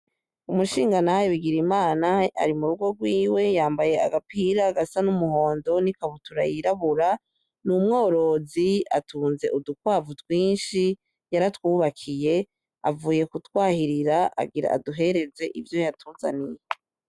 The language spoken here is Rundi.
Umushingantahe Birigimana ari murugo gwiwe yambaye agapira gasa n'umuhondo n'ikabutura yirabura n'umworozi atunze udukwavu twinshi yaratwubakiye avuye kutwahirira, agira aduhereze ivyo yatuzaniye.